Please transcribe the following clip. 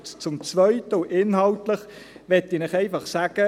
Zum Zweiten, inhaltlich, möchte ich Ihnen einfach sagen: